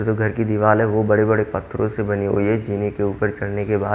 वो जो घर की दीवार है वो बड़े बड़े पत्थरों से बनी हुई है जीने के ऊपर चढ़ने के बाद।